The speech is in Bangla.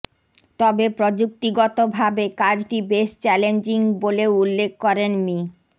তবে প্রযুক্তিগতভাবে কাজটি বেশ চ্যালেঞ্জিং বলেও উল্লেখ করেন মি